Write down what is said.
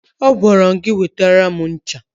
Agwara m gị wetara m ncha!